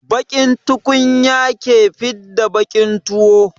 Baƙin tukunya ke fidda baƙin tuwo.